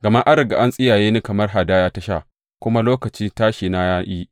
Gama an riga an tsiyaye ni kamar hadaya ta sha, kuma lokacin tashina ya yi.